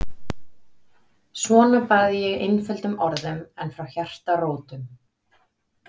Svona bað ég einföldum orðum en frá hjartarótum.